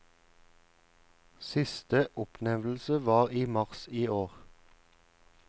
Siste oppnevnelse var i mars i år.